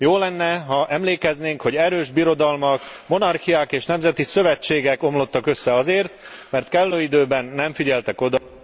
Jó lenne, ha emlékeznénk, hogy erős birodalmak, monarchiák és nemzeti szövetségek omlottak össze azért, mert kellő időben nem figyeltek oda